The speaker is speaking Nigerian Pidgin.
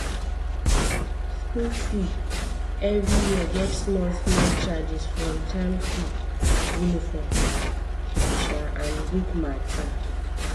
school fee every year get small small charges for term fee uniform um and book matter.